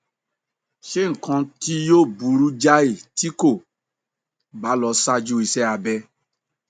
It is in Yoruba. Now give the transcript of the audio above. ṣe nǹkan tí yóò burú jáì tí kò bá lọ ṣáájú iṣẹ abẹ